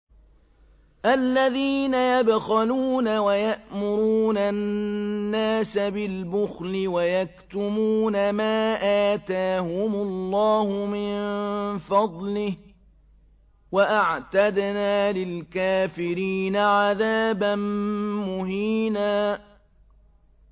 الَّذِينَ يَبْخَلُونَ وَيَأْمُرُونَ النَّاسَ بِالْبُخْلِ وَيَكْتُمُونَ مَا آتَاهُمُ اللَّهُ مِن فَضْلِهِ ۗ وَأَعْتَدْنَا لِلْكَافِرِينَ عَذَابًا مُّهِينًا